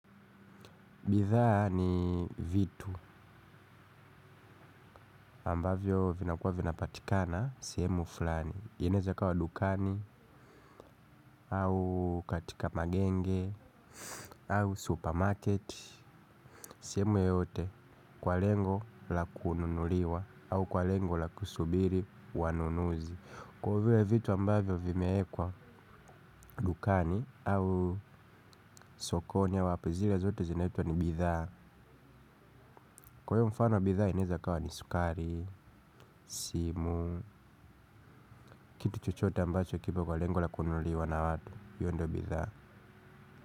Bidhaa ni vitu ambavyo vinakuwa vinapatikana sehemu fulani inaweza ikawa dukani au katika magenge au supermarket. Seheemu yoyote kwa lengo la kununuliwa au kwa lengo la kusubiri wanunuzi. Kwa hivyo vitu ambavyo vimewekwa dukani au sokoni au wapi zile zote zinaitwa ni bidhaa. Kwa hivyo mfano bidhaa inaweza ikawa ni sukari, simu. Kitu chochote ambacho kipo kwa lengo la kununuliwa na watu, hiyo ndo bidhaa.